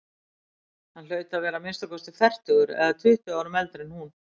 Hann hlaut að vera að minnsta kosti fertugur eða tuttugu árum eldri en hún.